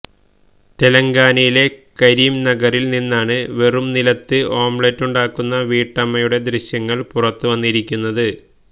തെലങ്കാനയിലെ കരിംനഗറില് നിന്നാണ് വെറും നിലത്ത് ഓംലറ്റുണ്ടാക്കുന്ന വീട്ടമ്മയുടെ ദൃശ്യങ്ങള് പുറത്തുവന്നിരിക്കുന്നത്